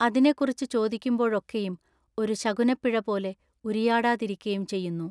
അതിനെക്കുറിച്ചു ചോദിക്കുമ്പോഴൊക്കെയും ഒരു ശകുനപ്പിഴ പോലെ ഉരിയാടാതിരിക്കയും ചെയ്യുന്നു.